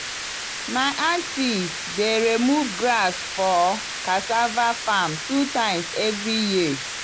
my anty dey romive grass for cassava farm two times every year.